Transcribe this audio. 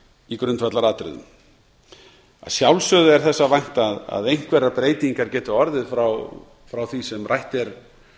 í grundvallaratriðum að sjálfsögðu er þess að vænta að einhverjar breytingar geti orðið frá því sem rætt er